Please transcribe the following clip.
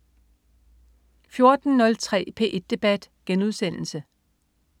14.03 P1 debat*